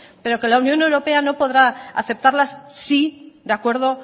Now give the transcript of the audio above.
pero que la unión europea no podrá aceptarlas si de acuerdo